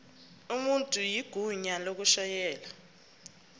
umuntu igunya lokushayela